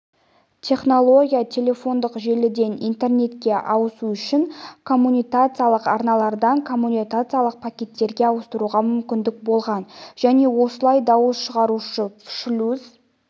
технология телефондық желіден интернетке ауысу үшін коммутациялық арналардан коммутациялық пакеттерге ауысуға мүмкіндік болған және осылай дауыс шығарушы шлюз